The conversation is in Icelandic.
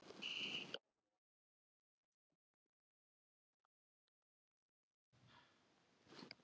Þá voru þau þrjú eftir ein og yfirgefin í nöprum faðmi norðurfjallanna.